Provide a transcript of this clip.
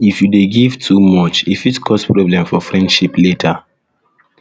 if you dey give too dey give too much e fit cause problem for friendship later